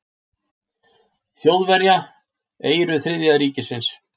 Þjóðverja, eyru Þriðja ríkisins.